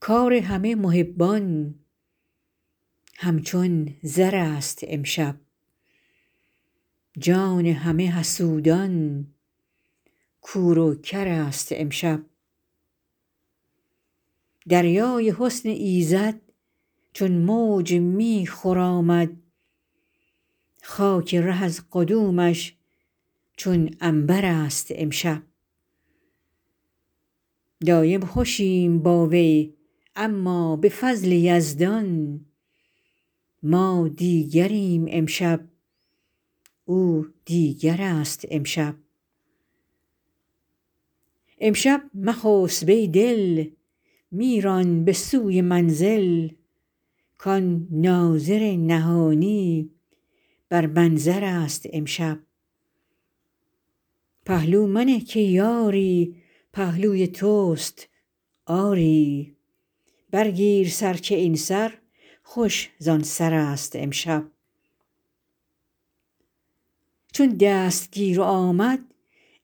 کار همه محبان همچون زرست امشب جان همه حسودان کور و کرست امشب دریای حسن ایزد چون موج می خرامد خاک ره از قدومش چون عنبر ست امشب دایم خوشیم با وی اما به فضل یزدان ما دیگریم امشب او دیگرست امشب امشب مخسب ای دل می ران به سوی منزل کان ناظر نهانی بر منظر ست امشب پهلو منه که یاری پهلوی تست آری برگیر سر که این سر خوش زان سرست امشب چون دستگیر آمد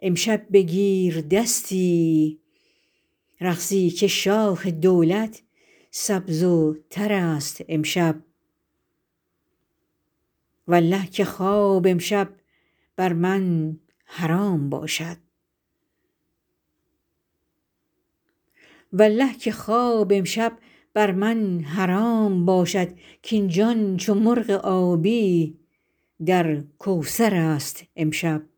امشب بگیر دستی رقصی که شاخ دولت سبز و ترست امشب والله که خواب امشب بر من حرام باشد کاین جان چو مرغ آبی در کوثر ست امشب